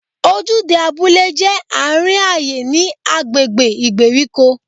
Ojúde abúlé jẹ́ àárín ayé ní agbègbè ìgbèríko.